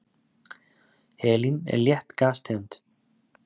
helín er létt gastegund